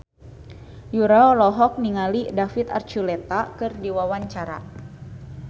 Yura olohok ningali David Archuletta keur diwawancara